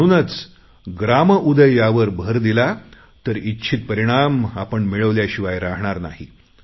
म्हणूनच ग्राम उदय यावर भर दिला तर इच्छित परिणाम आपण मिळवल्याशिवाय राहणार नाही